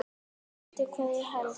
Veistu hvað ég held?